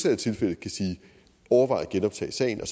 er tilfældet overvej at genoptage sagen og